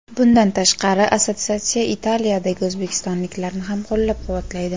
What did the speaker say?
Bundan tashqari, assotsiatsiya Italiyadagi o‘zbekistonliklarni ham qo‘llab-quvvatlaydi.